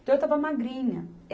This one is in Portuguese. Então, eu estava magrinha.